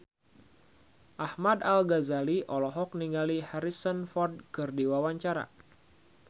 Ahmad Al-Ghazali olohok ningali Harrison Ford keur diwawancara